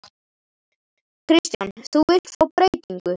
Kristján: Þú vilt fá breytingu?